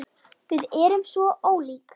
Við erum svo ólík.